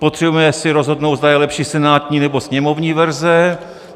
Potřebujeme si rozhodnout, zda je lepší senátní, nebo sněmovní verze.